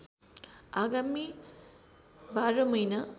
आगामी १२ महिना